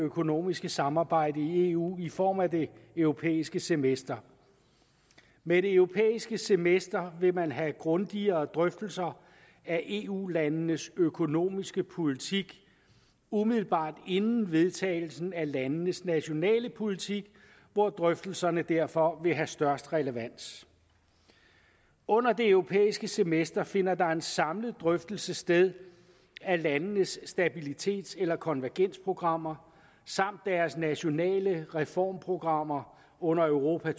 økonomiske samarbejde i eu i form af det europæiske semester med det europæiske semester vil man have grundigere drøftelser af eu landenes økonomiske politik umiddelbart inden vedtagelsen af landenes nationale politik hvor drøftelserne derfor vil have størst relevans under det europæiske semester finder der en samlet drøftelse sted af landenes stabilitets eller konvergensprogrammer samt deres nationale reformprogrammer under europa